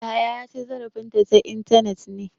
Yahaya ya ci zarafin ta ta intanet ne.